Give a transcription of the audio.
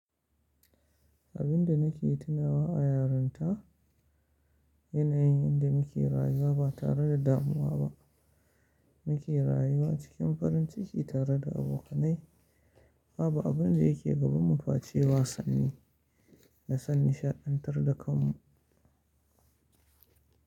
Abin da nake tunawa a yarinta yana yin yanda muke rayuwa ba tare da damuwa ba. Muke rayuwa cikin farin ciki tare da abokanai. Babu abin da yake gabanmu face wasanni da san nishaɗantar da kanmu.